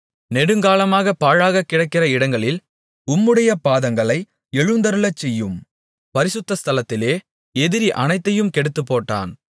நெடுங்காலமாகப் பாழாகக்கிடக்கிற இடங்களில் உம்முடைய பாதங்களை எழுந்தருளச்செய்யும் பரிசுத்தஸ்தலத்திலே எதிரி அனைத்தையும் கெடுத்துப்போட்டான்